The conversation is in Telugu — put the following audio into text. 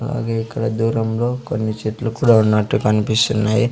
అలాగే ఇక్కడ దూరంలో కొన్ని చెట్లు కూడా ఉన్నట్టు కన్పిస్తున్నాయి.